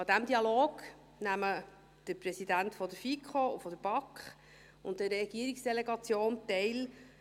An diesem Dialog nehmen die Präsidenten der FiKo und der BaK sowie eine Regierungsdelegation teil.